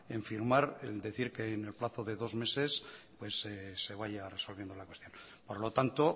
en firmar en decir que en el plazo de dos meses se vaya resolviendo la cuestión por lo tanto